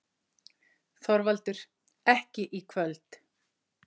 ÞORVALDUR: Ekki í kvöld.